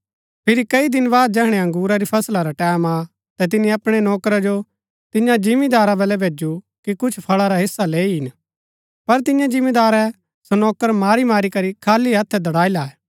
फिरी कई दिन बाद जैहणै अंगुरा री फसला रा टैमं आ ता तिनी अपणै नौकरा जो तियां जिमीदारा बल्लै भैजु कि कुछ फळा रा हिस्सा लैई ईन पर तियें जिमीदारै सो नौकर मारी मारी करी खाली हत्थै दड़ाई लायै